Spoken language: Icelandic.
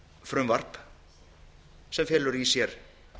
frumvarp sem felur í sér